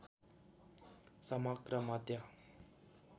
समग्र मध्य